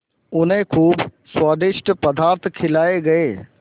उन्हें खूब स्वादिष्ट पदार्थ खिलाये गये